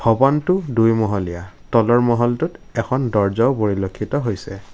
ভৱনটো দুইমহলীয়া তলৰ মহলটোত এখন দৰ্জাও পৰিলক্ষিত হৈছে।